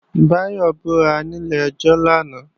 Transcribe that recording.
Báyọ̀ búra ní ilé-ẹjọ́ lánàá